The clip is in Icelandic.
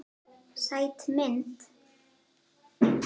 Sæt mynd.